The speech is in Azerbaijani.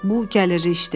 Bu gəlirli işdir.